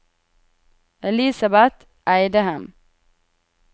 Elisabet Eidem